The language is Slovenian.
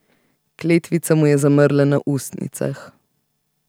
Kletvica mu je zamrla na ustnicah.